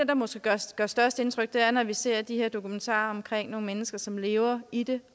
der måske gør størst indtryk er når vi ser de her dokumentarer om mennesker som lever i det